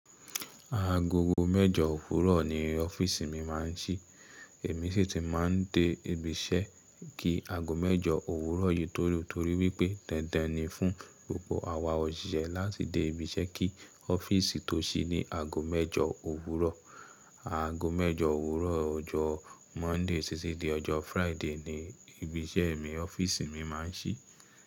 Agogo mẹ́jọ òwúrọ̀ ni ọ́fíìsì mi máa ń ṣí. Èmi sì tí máa ń dé ibi iṣẹ́ kí ago mẹ́jọ òwúrọ̀ yìí tó lù, torí wípé dandan ni fún gbogbo àwa òṣìṣẹ́ láti dé ibi iṣẹ́ kí ọ́fíìsì tó ṣí ní ago mẹ́jọ òwúrọ̀. Ago mẹ́jọ òwúrọ̀ ọjọ́ Monday títí dé ọjọ́ Friday ni ibi iṣẹ́ mi, ọ́fíìsì mi máa ń ṣí.